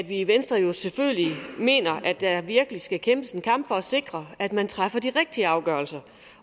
i venstre selvfølgelig mener at der virkelig skal kæmpes en kamp for at sikre at man træffer de rigtige afgørelser